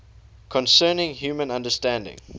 concerning human understanding